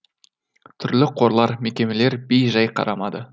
түрлі қорлар мекемелер бей жай қарамады